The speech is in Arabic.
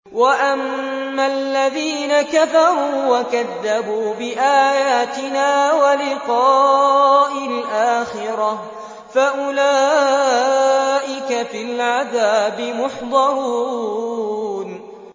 وَأَمَّا الَّذِينَ كَفَرُوا وَكَذَّبُوا بِآيَاتِنَا وَلِقَاءِ الْآخِرَةِ فَأُولَٰئِكَ فِي الْعَذَابِ مُحْضَرُونَ